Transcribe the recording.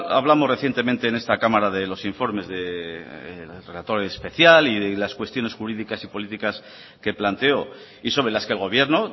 ya hablamos recientemente en esta cámara de los informes de especial y las cuestiones jurídicas y políticas que planteó y sobre las que el gobierno